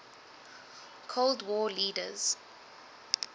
cold war leaders